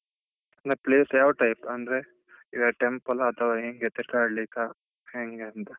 ಮತ್ place ಯಾವ type ಅಂದ್ರೆ ಈಗ temple ಆ ಅತ್ವಾ ಹೆಂಗೆ ತಿರ್ಗಾಡಲಿಕ ಹೆಂಗೆ ಅಂತ?